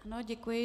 Ano, děkuji.